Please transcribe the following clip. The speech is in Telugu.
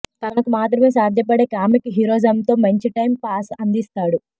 తనకు మాత్రమే సాధ్యపడే కామిక్ హీరోయిజమ్ తో మంచి టైమ్ పాస్ అందిస్తాడు